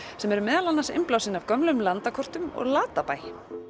sem eru meðal annars innblásin af gömlum landakortum og Latabæ